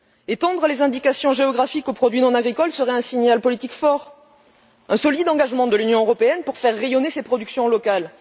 Étendre les indications géographiques aux produits non agricoles serait un signal politique fort, un solide engagement de l'Union européenne pour faire rayonner ses productions locales.